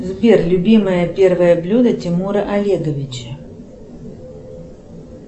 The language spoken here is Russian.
сбер любимое первое блюдо тимура олеговича